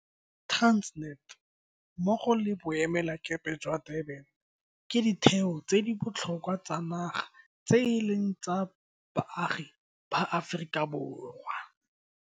Transnet, mmogo le Boemelakepe jwa Durban ke ditheo tse di botlhokwa tsa naga tse e leng tsa baagi ba Aforika Borwa.